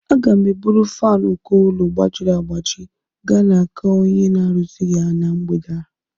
Aga m eburu fánu uko ụlọ gbajiri agbaji gaa n'aka onye na-arụzi ya na mgbede a